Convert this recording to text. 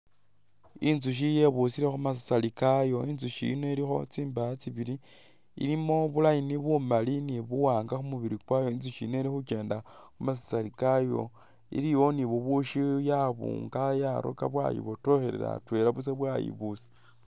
Inzushi yebusile khu masasari kayo, inzushi yino ilikho tsindaya tsibili ilimo bu line bu mali ni bu wanga khu mubili kwayo inzushi yino ili khu kyenda mu masasari kayo iliwo ni bubushi yabunga yaroka bwayibotokhelelela atwela bwayibuusa.